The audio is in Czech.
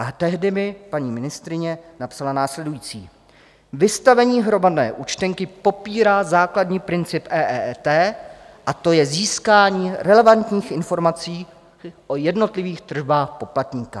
A tehdy mi paní ministryně napsala následující: Vystavení hromadné účtenky popírá základní princip EET a to je získání relevantních informací o jednotlivých tržbách poplatníka.